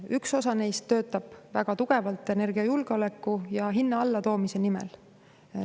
Üks osa neist töötab väga tugevalt energiajulgeoleku nimel ja hinna allatoomise nimel.